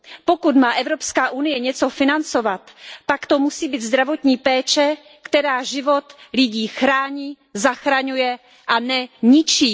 Pokud má EU něco financovat, pak to musí být zdravotní péče, která život lidí chrání, zachraňuje a ne ničí.